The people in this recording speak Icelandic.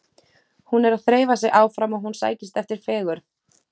Hún er að þreifa sig áfram og hún sækist eftir fegurð.